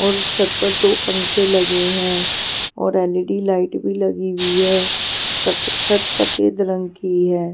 और छत पर दो पंखे लगे हैं और एल_ई_डी लाइट भी लगी हुई है छत सफेद रंग की है.